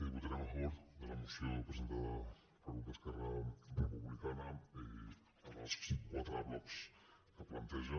votarem a favor de la moció presentada pel grup d’esquerra republicana en els quatre blocs que planteja